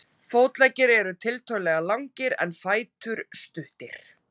Fótleggir eru tiltölulega langir en fætur stuttir.